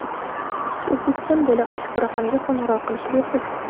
O‘zbekiston bo‘ylab ushbu raqamga qo‘ng‘iroq qilish bepul.